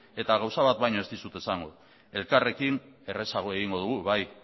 eta gauza bat baino ez dizut esango elkarrekin errazago egingo dugu bai